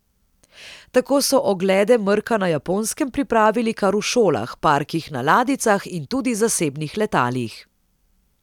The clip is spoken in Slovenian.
Tako so oglede mrka na Japonskem pripravili kar v šolah, parkih na ladjicah in tudi zasebnih letalih.